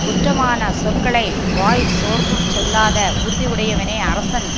குற்றமானச் சொற்களை வாய் சோர்ந்தும் சொல்லாத உறுதி உடையவனே அரசன்